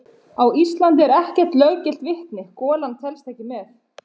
Á Íslandi er ekkert löggilt vitni: golan telst ekki með.